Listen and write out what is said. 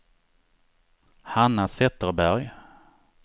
Hanna Zetterberg